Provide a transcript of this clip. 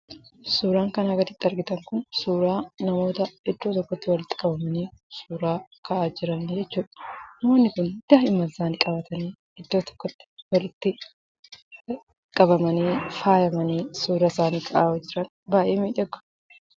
Suuraan kanaa gaditti argitan kun suuraa namoota iddoo tokkotti walitti qabamanii suuraa ka'aa jiranii jechuudha. Namoonni kun daa'imman isaanii qabatanii iddoo tokkotti walitti qabamanii, faayamanii suura isaanii ka'aa jiran baay'ee miidhagu.